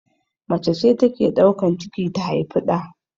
Macece take daukan ciki ta haufi ɗa